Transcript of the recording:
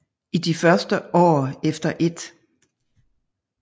I de første år efter 1